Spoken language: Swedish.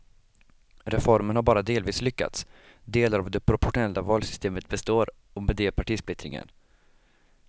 Reformen har bara delvis lyckats, delar av det proportionella valsystemet består och med det partisplittringen.